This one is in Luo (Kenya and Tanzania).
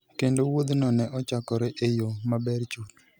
Kendo wuodhno ne ochakore e yo maber chuth.